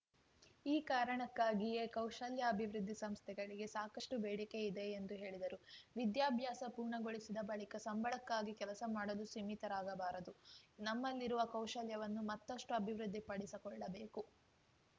ಈ ಕಾರಣಕ್ಕಾಗಿಯೇ ಕೌಶಲ್ಯಾಭಿವೃದ್ಧಿ ಸಂಸ್ಥೆಗಳಿಗೆ ಸಾಕಷ್ಟುಬೇಡಿಕೆ ಇದೆ ಎಂದು ಹೇಳಿದರು ವಿದ್ಯಾಭ್ಯಾಸ ಪೂರ್ಣಗೊಳಿಸಿದ ಬಳಿಕ ಸಂಬಳಕ್ಕಾಗಿ ಕೆಲಸ ಮಾಡಲು ಸೀಮಿತರಾಗಬಾರದು ನಮ್ಮಲ್ಲಿರುವ ಕೌಶಲ್ಯವನ್ನು ಮತ್ತಷ್ಟುಅಭಿವೃದ್ಧಿ ಪಡಿಸಕೊಳ್ಳಬೇಕು